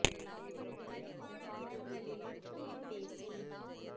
களிப்பான தினங்களிலே கூடிப் பேசி